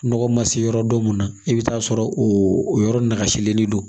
Nɔgɔ ma se yɔrɔ dɔ mun ma i bɛ t'a sɔrɔ o yɔrɔ lakaselen don